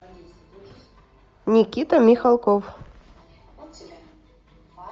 никита михалков